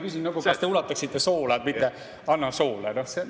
Näiteks: "Kas te ulataksite soola?", mitte: "Anna soola.